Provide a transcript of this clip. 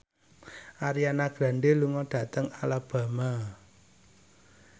Ariana Grande lunga dhateng Alabama